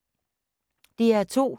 DR2